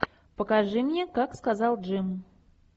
покажи мне как сказал джим